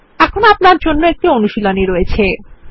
এখন আপনাদের জন্য একটি অনুশীলনী আছে